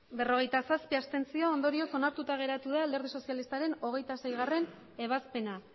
berrogeita zazpi ondorioz onartuta geratu da alderdi sozialistaren hogeita seigarrena